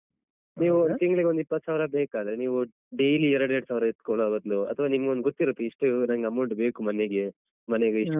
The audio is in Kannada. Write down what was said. ನೀವು ತಿಂಗ್ಳಿಗೊಂದ್‌ ಇಪ್ಪತ್ಸಾವಿರ ಬೇಕಾದ್ರೆ ನೀವು daily ಎರಡೆರಡ್ ಸಾವಿರ ಎತ್ಕೊಳ್ಳೋ ಬದ್ಲು ಅಥ್ವಾ ನಿಮ್ಗೊಂದು ಗೊತ್ತಿರುತ್ತೆ ಇಷ್ಟು ನಂಗ್ amount ಬೇಕು ಮನೆಗೆ ಮನೆಗೆ ಇಷ್ಟು.